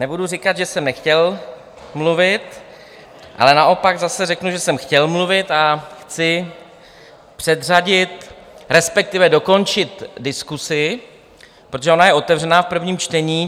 Nebudu říkat, že jsem nechtěl mluvit, ale naopak zase řeknu, že jsem chtěl mluvit, a chci předřadit, respektive dokončit diskusi, protože ona je otevřena v prvním čtení.